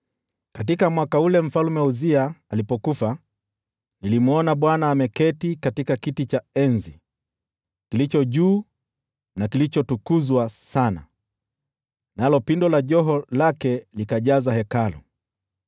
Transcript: Katika mwaka ule Mfalme Uzia alikufa, nilimwona Bwana ameketi katika kiti cha enzi, kilicho juu na kilichotukuzwa sana, nalo pindo la joho lake likajaza Hekalu.